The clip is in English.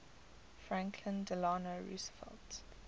franklin delano roosevelt